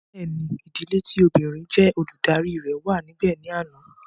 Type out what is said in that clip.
Bẹ́ẹ̀ni, ìdílé tí obìnrin jé Olùdarí rẹ̀ wà níbè ní àná